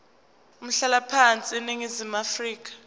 umhlalaphansi eningizimu afrika